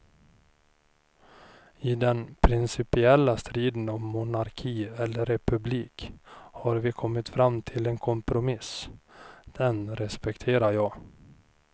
I den principiella striden om monarki eller republik har vi kommit fram till en kompromiss, den respekterar jag.